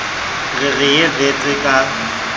re re ye wits ka